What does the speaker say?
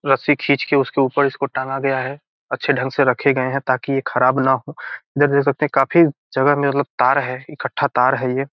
रस्सी खींचकर उसके ऊपर इसको टांगा गया है अच्छे ढंग से रखे गए है ताकि ये खराब न हो देख सकते है काफी जगह में मतलब तार है इक्क्ठा तार है ये।